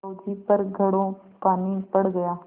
बहू जी पर घड़ों पानी पड़ गया